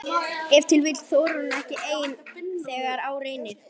Ef til vill þorir hún ekki ein þegar á reynir?